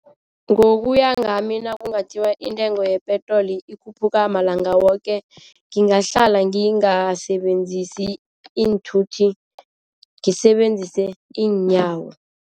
Ngokuya ngami nakungathiwa intengo yepetroli ikhuphuka malanga woke ngingahlala ngingasebenzisi iinthuthi ngisebenzise iinyawo.